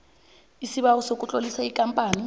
isibawo sokutlolisa ikampani